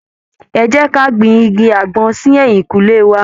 Ẹ jẹ́ ka gbin igi àgbọn sí ẹ̀yìnkùlé wa.